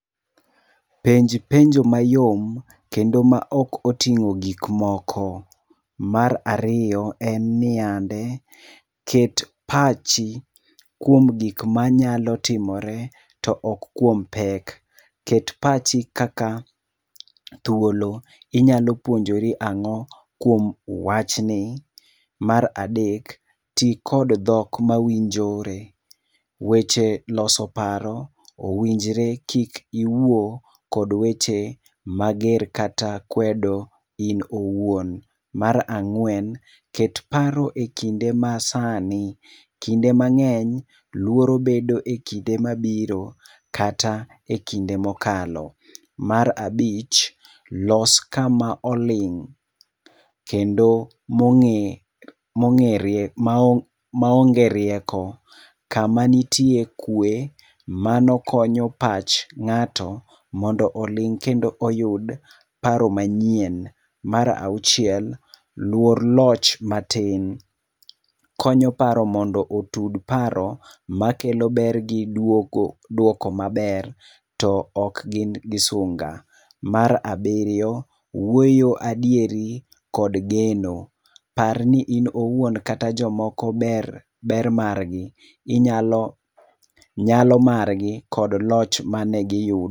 Penj penjo mayom kendo maok oting'o gik moko. Mar ariyo en niyande, ket pachi kuom gik manyalo timore, to ok kuom pek. Ket pachi kaka thuolo. Inyalo puonjori ang'o kuom wachni. Mar adek, ti kod dhok mawinjore, weche loso paro. Owinjore kik iwuo kod weche mager kata kwedo in iwuon. Mar ang'wen, ket paro ekinde masani, kinde mang'eny luoro bedo e kinde mabiro kata ekinde mokalo. Mar abich, los kama oling' kendo mong'rie maonge rieko, kama nitie kwe. Mano konyo pach ng'ato mondo oling' kendo oyud paro manyien. Mar auchiel, luor loch matin. Konyo paro mondo otud paro makelo ber gi duogo duoko maber, to ok gin gi sunga. Mar abiriyo, wuoyo adieri kod geno. Par ni in owuon kata jomoko ber ber margi inyalo nyalo margi kod loch mane giyudo.